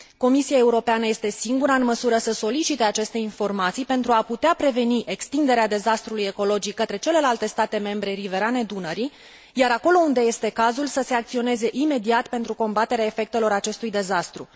Comisia Europeană este singura în măsură să solicite aceste informații pentru a putea preveni extinderea dezastrului ecologic către celelalte state membre riverane Dunării, iar acolo unde este cazul să se acționeze imediat pentru combaterea efectelor acestui dezastru.